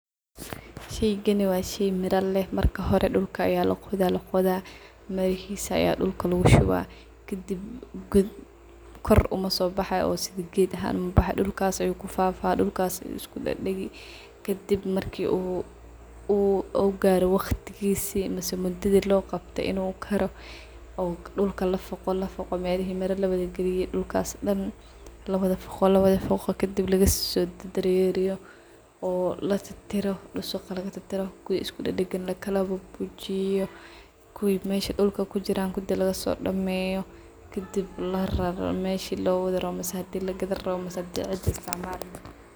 Sheygani wa shey mira leh, marka dulka ayaa laqodah laqodah, mirahisa ayaa dulka lugushubah, kadib kor umasobaxayo dulkas uu ku fafa , dulka lafafaqo lafaqo kadib lagasodareriyo . Kuwa iskudadagan lakalabibixiyo oo dusuqa lagatirtiro kuwa mesha kujiran lagaso dameyo daman lagasobixiyo lakalwarejiyo. Kuwi dulka kujiran kudi lagasobibixiyo lagasodameyo mise hadi lagadi rawo mise hadi cidhi isticmali.